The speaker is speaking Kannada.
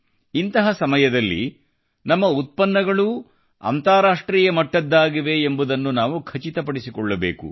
ಇಂತಹ ಸಮಯದಲ್ಲಿ ನಮ್ಮ ಉತ್ಪನ್ನಗಳೂ ಅಂತಾರಾಷ್ಟ್ರೀಯ ಮಟ್ಟದ್ದಾಗಿವೆ ಎಂಬುದನ್ನ ನಾವು ಖಚಿತಪಡಿಸಿಕೊಳ್ಳಬೇಕು